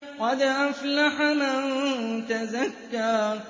قَدْ أَفْلَحَ مَن تَزَكَّىٰ